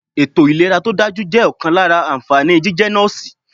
Ètò ìlera to dájú jẹ́ ọ̀kan lára ànfàní jíjẹ́ Nọ́ọ̀sì.